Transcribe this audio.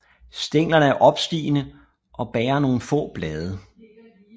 Stænglerne er opstigende og bærer nogle få blade